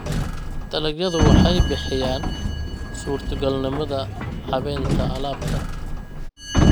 Dalagyadu waxay bixiyaan suurtogalnimada habaynta alaabta.